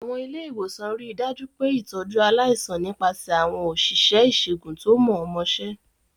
Àwọn ilé ìwòsàn rí i dájú pé ìtọ́jú aláìsàn nípasẹ̀ àwọn òṣìṣẹ́ ìṣègùn tó mọ̀ọ́mọṣẹ́.